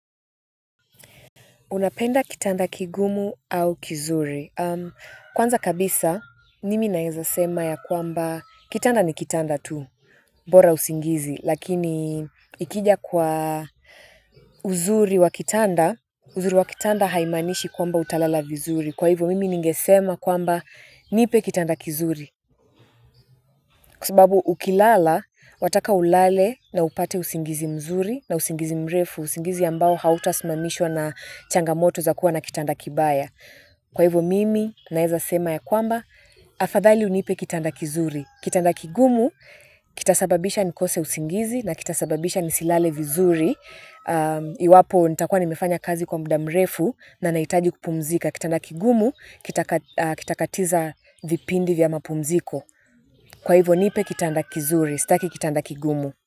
Unapenda kitanda kigumu au kizuri. Kwanza kabisa, nimi naenza sema ya kwamba kitanda ni kitanda tu, bora usingizi. Lakini ikija kwa uzuri wa kitanda, uzuri wa kitanda haimanishi kwamba utalala vizuri. Kwa hivyo, mimi ningesema kwamba nipe kitanda kizuri. Kwa sababu ukilala, wataka ulale na upate usingizi mzuri na usingizi mrefu, usingizi ambao hautasimamishwa na changamoto za kuwa na kitanda kibaya. Kwa hivyo mimi naeza sema ya kwamba, afadhali unipe kitanda kizuri. Kitanda kigumu, kitasababisha nikose usingizi na kitasababisha nisilale vizuri. Iwapo nitakua nimefanya kazi kwa muda mrefu na nahitaji kupumzika. Kitanda kigumu, kitakatiza vipindi vya mapumziko. Kwa hivo nipe kitanda kizuri, staki kitanda kigumu.